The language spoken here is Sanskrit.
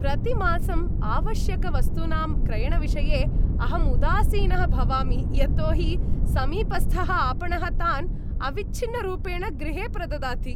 प्रतिमासम् आवश्यकवस्तूनां क्रयणविषये, अहम् उदासीनः भवामि यतो हि समीपस्थः आपणः तान् अविच्छिन्नरूपेण गृहे प्रददाति।